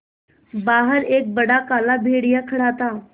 बाहर एक बड़ा काला भेड़िया खड़ा था